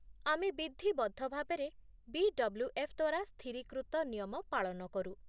ଆମେ ବିଧିବଦ୍ଧ ଭାବରେ ବି.ଡବ୍ଲ୍ୟୁ.ଏଫ୍. ଦ୍ଵାରା ସ୍ଥିରୀକୃତ ନିୟମ ପାଳନ କରୁ